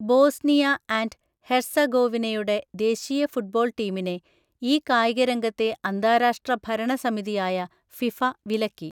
Bosnia and ഹെർസഗോവിനയുടെ ദേശീയ football ടീമിനെ ഈ കായികരംഗത്തെ അന്താരാഷ്ട്ര ഭരണ സമിതിയായ ഫിഫ വിലക്കി.